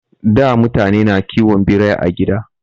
Da mutane na kiwon Birai a gida